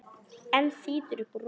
Hann þýtur upp úr rúminu.